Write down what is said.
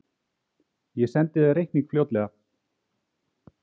Ég sendi þér reikning fljótlega.